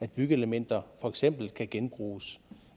byggeelementer for eksempel kan genbruges